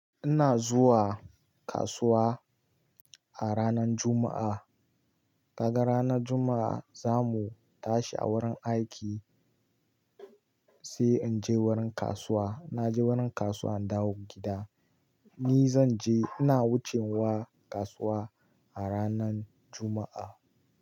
Ina zuwa kasuwa a ranar Juma'a. Kaga ranar Juma'a za mu tashi a wurin aiki sai in je wurin kasuwa. Na je wurin kasuwa in dawo gida. Ni zan je, ina wucewa kasuwa a ranar Juma'a.